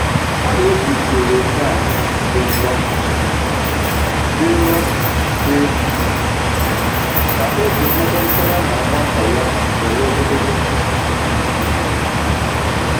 Ọ na eji usoro nhịahụ dị nro um dị nro um dị um ka oge mmekọrịta ya na nwamba ya nwere ogologo ntụtụ um